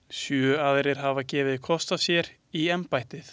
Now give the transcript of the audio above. Sjö aðrir hafa gefið kost á sér í embættið.